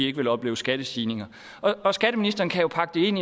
ikke ville opleve skattestigninger og skatteministeren kan jo pakke det ind